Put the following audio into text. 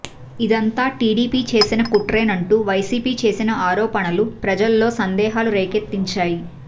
ఇదంతా టీడీపీ చేసిన కుట్రేనంటూ వైసీపీ చేసిన ఆరోపణలు ప్రజల్లో సందేహాలు రేకెత్తించాయి